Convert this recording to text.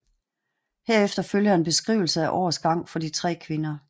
Herefter følger en beskrivelse af årets gang for de tre kvinder